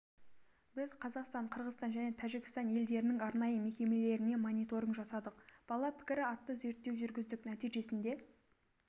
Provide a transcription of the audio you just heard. біз қазақстан қырғызстан және тәжікстан елдерінің арнайы мекемелеріне мониторинг жасадық бала пікірі атты зерттеу жүргіздік нәтижесінде